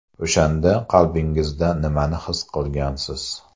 O‘shanda qalbingizda nimani his qilgansiz?